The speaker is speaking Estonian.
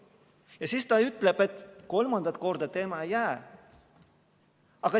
Ja siis ta ütleb, et kolmandat korda tema ei jää.